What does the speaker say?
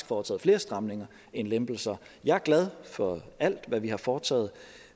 foretaget flere stramninger end lempelser jeg er glad for alt hvad vi har foretaget